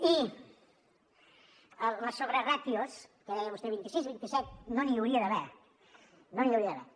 i les sobreràtios que deia vostè vint i sis vint i set no n’hi hauria d’haver no n’hi hauria d’haver